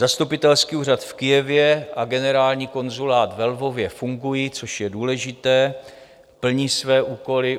Zastupitelský úřad v Kyjevě a Generální konzulát ve Lvově fungují, což je důležité, plní své úkoly.